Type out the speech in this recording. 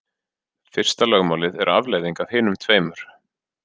Fyrsta lögmálið er afleiðing af hinum tveimur.